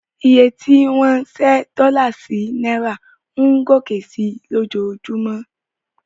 Iye tí wọ́n ń ṣẹ́ dọ́là sí náírà ń gòkè sí i lójoojúmọ́.